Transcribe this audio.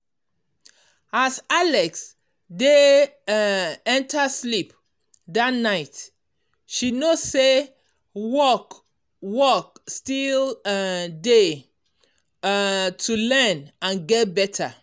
as alex dey um enter sleep that night she know say work work still um dey um to learn and get better.